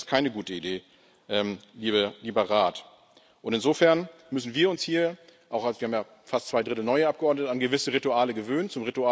Das ist keine gute Idee, lieber Rat. Insofern müssen wir uns hier auch als fast zwei Drittel neue Abgeordnete an gewisse Rituale gewöhnen.